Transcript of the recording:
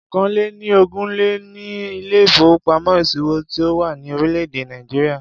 Ọ̀kàn-lé-ni-ogún ni ilé ìfowópamọ́ ìṣòwò tí ó wà ní orílé èdè Nàìjíríà.